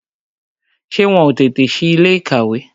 Ṣé wọn ó tètè si ilé ìkàwé